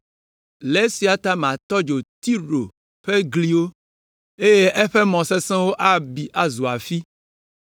Le esia ta matɔ dzo Tiro ƒe gliwo, eye eƒe mɔ sesẽwo abi azu afi.”